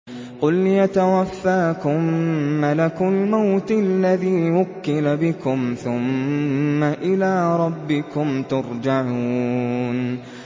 ۞ قُلْ يَتَوَفَّاكُم مَّلَكُ الْمَوْتِ الَّذِي وُكِّلَ بِكُمْ ثُمَّ إِلَىٰ رَبِّكُمْ تُرْجَعُونَ